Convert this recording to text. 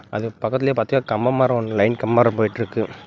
அதுக்கு பக்கத்திலேயே பாத்தா கம்பம் மாறி லைன் கம்பம் மாறி போயிட்டு இருக்கு.